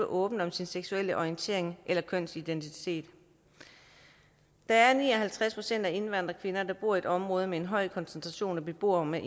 åben om sin seksuelle orientering eller kønsidentitet der er ni og halvtreds procent af de indvandrerkvinder der bor i et område med en høj koncentration af beboere med